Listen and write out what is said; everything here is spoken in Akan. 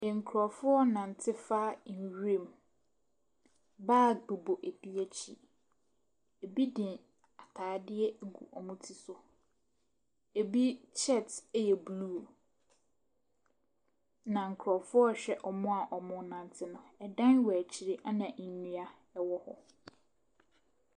Nkurɔfoɔ renante fa nwuram. Bag bobɔ ebi akyi. Ebi de atade agu wɔn ti so. Ebi shirt yɛ blue, na nkurɔfoɔ rehwɛ wɔn a wɔrenante no. ɛdan wɔ akyire ɛnna nnua wɔ hɔ.